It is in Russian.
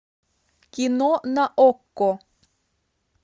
кино на окко